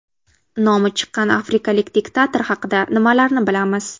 Nomi chiqqan afrikalik diktator haqida nimalarni bilamiz?.